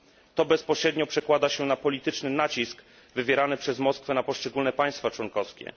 To bezpośrednio przekłada się na polityczny nacisk wywierany przez Moskwę na poszczególne państwa członkowskie.